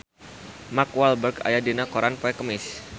Mark Walberg aya dina koran poe Kemis